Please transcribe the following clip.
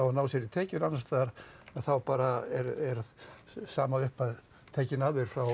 að ná þér í tekjur annars staðar þá bara er sama upphæð tekin af þér frá